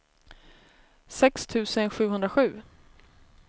sex tusen sjuhundrasju